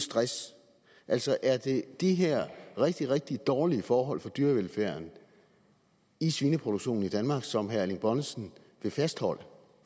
stress altså er det de her rigtig rigtig dårlige forhold for dyrevelfærden i svineproduktionen i danmark som herre erling bonnesen vil fastholde for